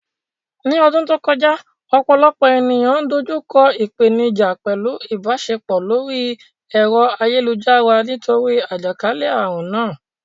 Ní ọdún tó kọjá, ọ̀pọ̀lọpọ̀ ènìyàn dojú kọ ìpèníjà pẹ̀lú ìbáṣepọ̀ lórí ẹ̀rọ ayélujára nítorí àjàkálẹ̀ àrùn náà.